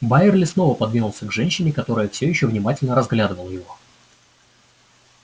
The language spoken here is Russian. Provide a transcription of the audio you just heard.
байерли снова повернулся к женщине которая всё ещё внимательно разглядывала его